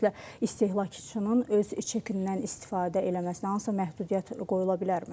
Ümumiyyətlə istehlakçının öz çekindən istifadə eləməsinə hansısa məhdudiyyət qoyula bilərmi?